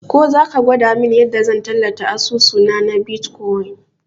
Ko zaka gwada mun yanda zan tallata asusuna na bitkwain